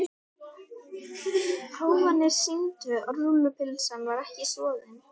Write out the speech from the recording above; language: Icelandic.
Prófanir sýndu að rúllupylsan var ekki soðin.